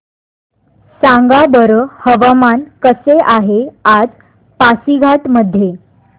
सांगा बरं हवामान कसे आहे आज पासीघाट मध्ये